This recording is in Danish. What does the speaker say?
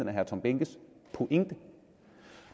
er herre tom behnkes pointe